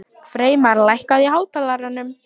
Freymar, lækkaðu í hátalaranum.